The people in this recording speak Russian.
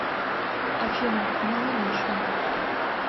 афина аналогично